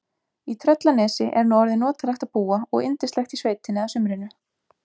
Í Tröllanesi er nú orðið notalegt að búa og yndislegt í sveitinni að sumrinu.